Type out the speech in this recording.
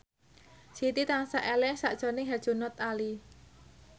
Siti tansah eling sakjroning Herjunot Ali